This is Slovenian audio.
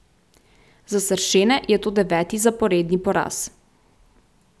Za sršene je to deveti zaporedni poraz.